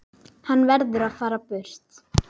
Hann verður að fara burt.